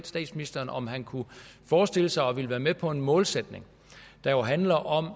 statsministeren om han kunne forestille sig at ville være med på en målsætning der handler om at